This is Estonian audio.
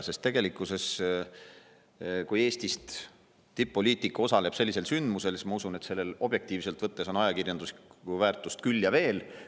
Sest tegelikkuses, kui Eestist tipp-poliitik osaleb sellisel sündmusel, siis ma usun, et sellel on objektiivselt võttes ajakirjanduslikku väärtust küll ja veel.